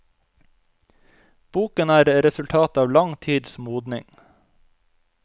Boken er resultat av lang tids modning.